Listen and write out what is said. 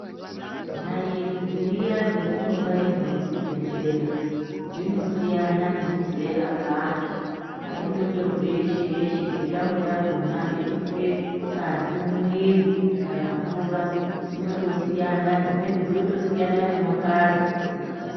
Naiti dziya dzatinobairwa kuchibhehleya dzinosiyana nemuzera weantu, aindotorwi yeshe yeshe ngetambo yakona yekuise ngazi mumwiri kana mvura dzinotosiyana dzimweni dzinotosiyana nemakara.